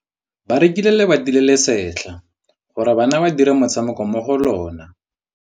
Ba rekile lebati le le setlha gore bana ba dire motshameko mo go lona.